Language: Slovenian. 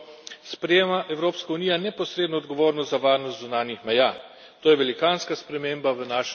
S to novo integrirano strukturo sprejema Evropska unija neposredno odgovornost za varnost zunanjih meja.